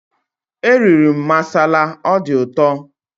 Eriri m masala, ọ dị ụtọ